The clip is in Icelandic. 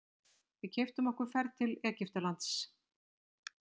Við keyptum okkur ferð til Egyptalands.